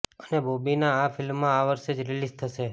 અને બોબીની આ ફિલ્મ આ વર્ષે જ રિલીઝ થશે